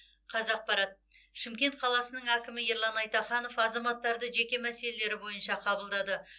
қазақпарат шымкент қаласының әкімі ерлан айтаханов азаматтарды жеке мәселелері бойынша қабылдады